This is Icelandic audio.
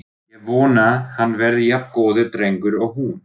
Ég vona hann verði jafn góður drengur og hún.